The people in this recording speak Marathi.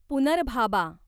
पुनर्भाबा